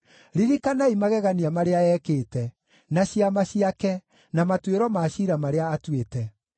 Ririkanai magegania marĩa ekĩte, na ciama ciake, na matuĩro ma ciira marĩa atuĩte,